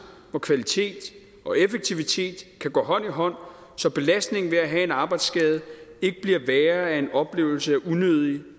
hvor kvalitet og effektivitet kan gå hånd i hånd så belastningen ved at have en arbejdsskade ikke bliver værre af en oplevelse af unødigt